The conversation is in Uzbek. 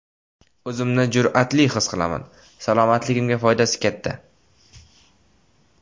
O‘zimni jur’atli his qilaman, salomatligimga foydasi katta.